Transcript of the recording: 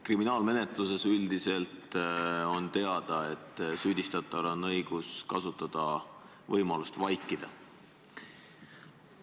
Kriminaalmenetluses on üldiselt teada, et süüdistataval on õigus kasutada võimalust vaikida.